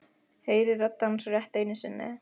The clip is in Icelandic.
Heyri rödd hans rétt einu sinni.